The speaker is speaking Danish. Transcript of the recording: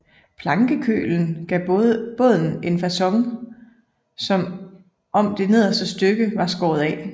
Plankekølen gav båden en facon som om det nederste stykke var skåret af